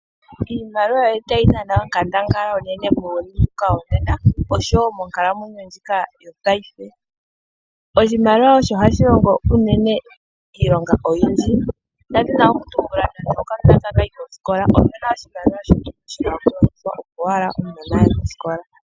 Iimaliwa oyili tayi dhana oonkandangala monkalamwenyo ndjika yo paife. Oshimaliwa osho hashi longo uunene iilonga oyindji, nda dhina okutumbula, nando okanona ta kayi koskola, oshimaliwa oshina oku longitha, opo wala omunona aye koskola.